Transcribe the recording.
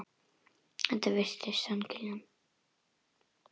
Þetta er víst hann Kiljan.